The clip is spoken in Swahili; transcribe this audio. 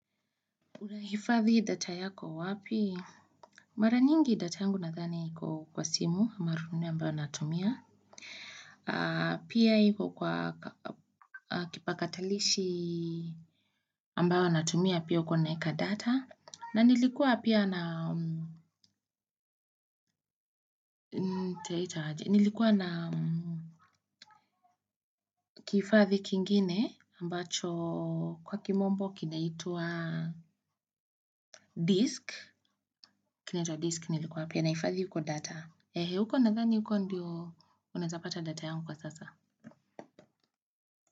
Unahifadhi data yako wapi? Mara nyingi data yangu nadhani iko kwa simu marununu ambayo natumia pia iko kwa kipakatalishi ambayo natumia pia uko naweka data na nilikuwa pia na nilikuwa na kifadhi kingine ambacho kwa kimombo kinaitwa disk kinaitwa disk nilikuwa pia nahifadhi huko data huko nadhani huko ndio unawezapata data yangu kwa sasa.